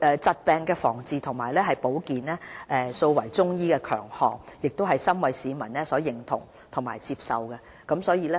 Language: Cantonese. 疾病防治及保健素為中醫強項，亦深為市民所認同及接受。